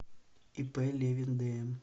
ип левин дм